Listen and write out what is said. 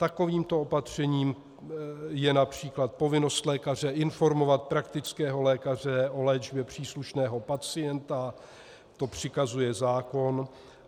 Takovýmto opatřením je například povinnost lékaře informovat praktického lékaře o léčbě příslušného pacienta, to přikazuje zákon.